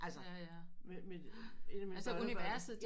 Altså med med